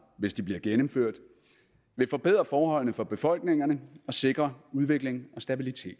hvis de bliver gennemført vil forbedre forholdene for befolkningerne og sikre udvikling og stabilitet